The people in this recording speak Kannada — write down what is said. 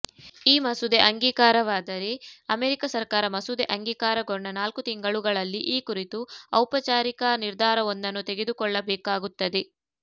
ಈ ಮಸೂದೆ ಅಂಗೀಕಾರವಾದರೆ ಅಮೆರಿಕ ಸರಕಾರ ಮಸೂದೆ ಅಂಗೀಕಾರಗೊಂಡ ನಾಲ್ಕು ತಿಂಗಳುಗಳಲ್ಲಿ ಈ ಕುರಿತು ಔಪಚಾರಿಕ ನಿರ್ಧಾರವೊಂದನ್ನು ತೆಗೆದುಕೊಳ್ಳಬೇಕಾಗುತ್ತದೆ